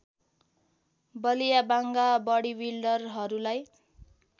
बलिया बाङ्‍गा बडिबिल्डरहरूलाई